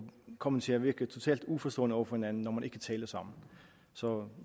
komme til at virke totalt uforstående over for hinanden når man ikke taler sammen så